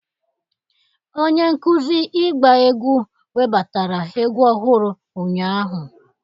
Onye nkuzi ịgba egwu webatara egwu ọhụrụ ụnyahụ.